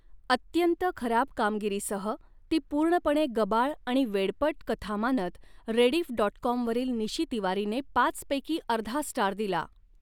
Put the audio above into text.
अत्यंत खराब कामगिरीसह ती पूर्णपणे गबाळ आणि वेडपट कथा मानत, रेडीफ डॉट कॉमवरील निशी तिवारीने पाचपैकी अर्धा स्टार दिला.